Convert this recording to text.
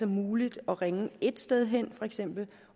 muligt at ringe ét sted hen